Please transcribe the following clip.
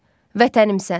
Vətənimsən.